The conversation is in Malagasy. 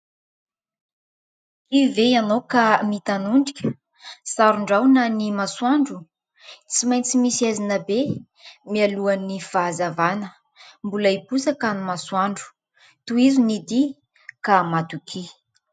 Kivy ve ianao ka mitanondrika? Saron-drahona ny masoandro. Tsy maintsy misy haizina be mialohan'ny fahazavana. Mbola hiposaka ny masoandro tohizo ny dia ka matokia.